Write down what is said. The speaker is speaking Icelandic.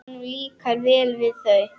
Honum líkar vel við þau.